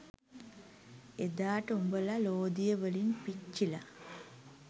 එදාට උඹල ලෝදිය වලින් පිච්චිල